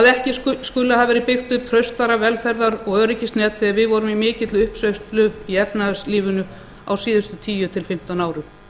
ekki skuli hafa verið byggt upp traustara velferðar og öryggisnet þegar við vorum í mikilli uppsveiflu í efnahagslífinu á síðustu tíu til fimmtán árum